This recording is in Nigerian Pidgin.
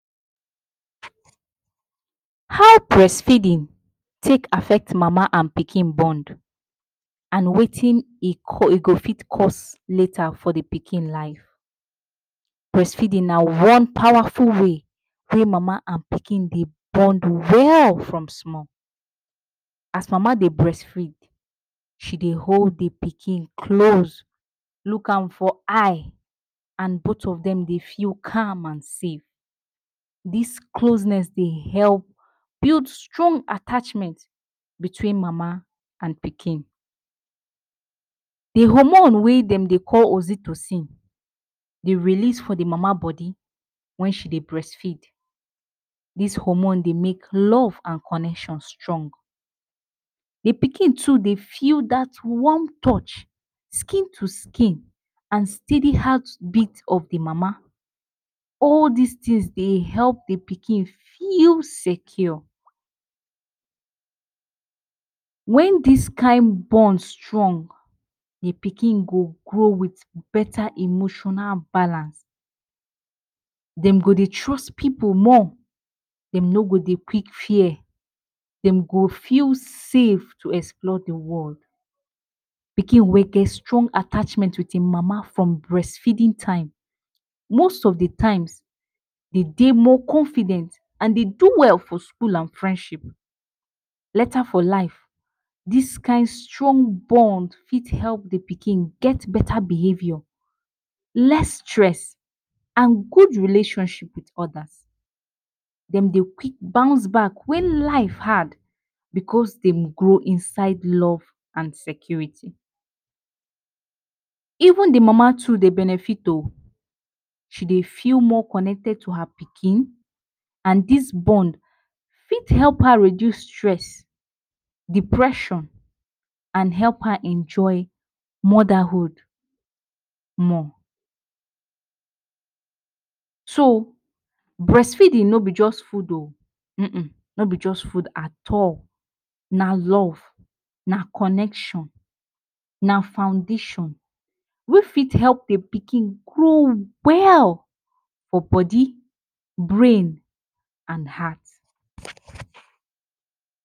How brest feedin take affect mama and pikin bond and wetin e go fit cause later for di pikin life? Brest feedin na one pawaful way wey mama and pikin dey bond well from small. As mama dey brest feed, she dey hold the pikin close, look am for eye and both of dem dey feel calm and safe, dis closnes dey help build strong atachment bitwin mama and pikin. The hormone wey dem dey call oxytocin, dey release for the mama bodi wen she dey brest feed, dis hormone dey make love and conection strong, the pikin too dey feel dat warm touch, skin to skin and steady heart beat of the mama. All dis tin dey help de pikin feel secure. Wen dis kind bond strong, the pikin go grow with beta emotional balance, dem go dey trust pipu more, dem no go dey quik fear. Dem go feel save to explore the world, pikin wey get strong attachment with im mama from brest feedin time most of the times. Dey dey more confident and dey do well for skull and friendship. Later for life, dis kind strong bond fit help the pikin get beta behavior, less stress, and gud relationship with odas. Dem dey quik bounce bak wen life hard because dem grow inside love and security. Even the mama too dey benefit o,she dey feel more connected to her pikin and dis bond fit help her reduce stress, depression, and help her enjoy motherhood more. So, brest feedin no be just food o,[um] no be just food at all, na love, na conection, na foundation wey fit help the pikin grow well for bodi, brain and heart.